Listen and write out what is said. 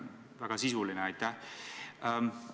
Väga sisuline, aitäh!